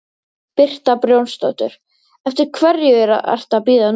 Birta Björnsdóttir: Eftir hverju ertu að bíða núna?